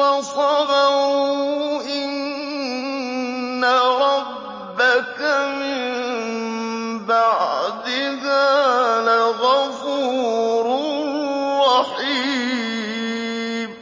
وَصَبَرُوا إِنَّ رَبَّكَ مِن بَعْدِهَا لَغَفُورٌ رَّحِيمٌ